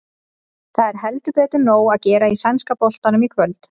Það er heldur betur nóg að gera í sænska boltanum í kvöld.